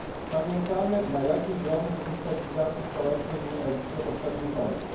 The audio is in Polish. Pamiętamy, na jakiej drodze do destabilizacji społecznej był Egipt za poprzednich rządów.